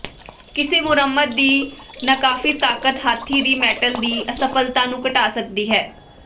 ਕਿਸੇ ਮੁਰੰਮਤ ਦੀ ਨਾਕਾਫ਼ੀ ਤਾਕਤ ਹਾਥੀ ਦੀ ਮੈਟਲ ਦੀ ਅਸਫਲਤਾ ਨੂੰ ਘਟਾ ਸਕਦੀ ਹੈ